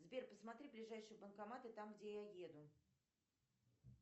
сбер посмотри ближайшие банкоматы там где я еду